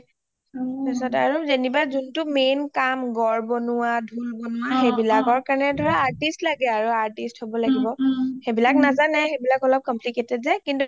তাৰপিছত আৰু যেনিবা যুণ্টো main কাম গড় বনুৱা ঢোল বনুৱা অ অ হেইবিলকৰ কাৰণে artist লাগে আৰু artist হব লাগিব.ওম উম সেইবিলাক নাজানে সেইবিলাক অলপ complicated যে